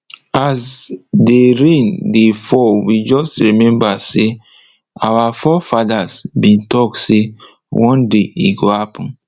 as dey rain dey fall we just remember say our fore fathers been talk say one day e go happen